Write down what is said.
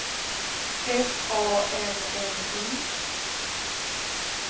F A N N Y